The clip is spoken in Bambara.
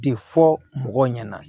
De fɔ mɔgɔw ɲɛna